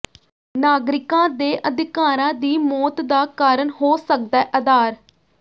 ਨਾਗਰਿਕਾਂ ਦੇ ਅਧਿਕਾਰਾਂ ਦੀ ਮੌਤ ਦਾ ਕਾਰਨ ਹੋ ਸਕਦੈ ਆਧਾਰ